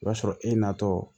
O b'a sɔrɔ e natɔ